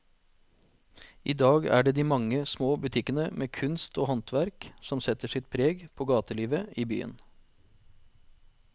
I dag er det de mange små butikkene med kunst og håndverk som setter sitt preg på gatelivet i byen.